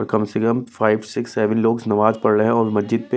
कम से कम five six seven लोग नमाज पढ़ रहे हैंऔर मस्जिद पे--